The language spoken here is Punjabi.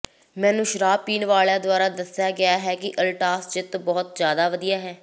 ਮੈਨੂੰ ਸ਼ਰਾਬ ਪੀਣ ਵਾਲਿਆਂ ਦੁਆਰਾ ਦੱਸਿਆ ਗਿਆ ਹੈ ਕਿ ਅਲਟਾਸ ਜਿੱਤ ਬਹੁਤ ਜਿਆਦਾ ਵਧੀਆ ਹੈ